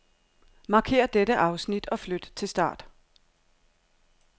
Markér dette afsnit og flyt til start.